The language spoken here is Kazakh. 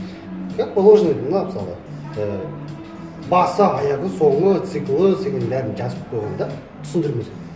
как положено мынау мысалы і басы аяғы соңы циклы деген бәрін жазып қойған да түсіндірмесін